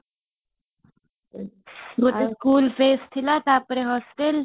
ଗୋଟେ school dresses ଥିଲା ତାପରେ hostel